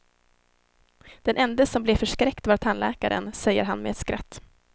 Den ende som blev förskräckt var tandläkaren, säger han med ett skratt.